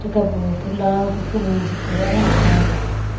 kabu putla to hun zikku yang toh ah taega.